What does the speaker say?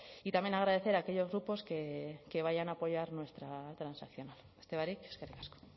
y también agradecer a aquellos grupos que vayan a apoyar nuestra transaccional beste barik eskerrik asko